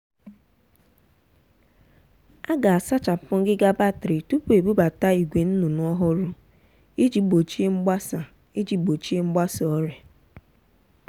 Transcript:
a ga-asachapụ ngịga batrị tupu ebubata ìgwè nnụnụ ọhụrụ iji gbochie mgbasa iji gbochie mgbasa ọrịa.